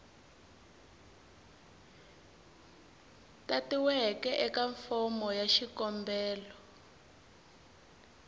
tatiweke eka fomo ya xikombelo